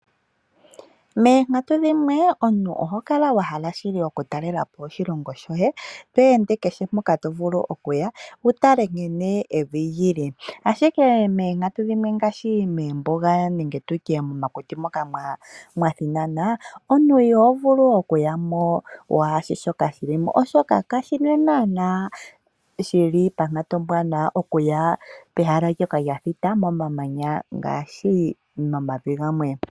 Moonkatu dhimwe omuntu oho kala wa hala shili okutalela po oshilongo shoye to ende kehe mpoka to vulu okuya wu tale nkene evi li li. Ashike moonkatu dhimwe ngaashi moombuga nenge momakuti moka mwa thinana omuntu iho vulu okuya mo waashi shoka shi li mo, oshoka kashi li naana ponkatu ombwaanawa okuya pomahala ngoka ga thita momamanya ngaashi momavi gamwe.